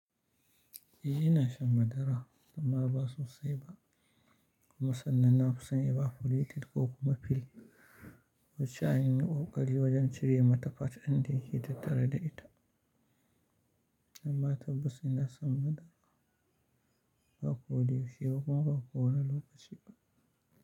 Iyi ina shan madara, amma ba sosai ba. Kuma sannan na fi son ibafulletin ko kuma fil, wacce an yi kokari wajen cire mata fat din dayake tattare da ita, amma tabbas ina shan madara, ba koyaushe ba kuma ba kowane lokaci ba.